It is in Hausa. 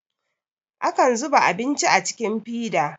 akan zuba abinci a cikin fida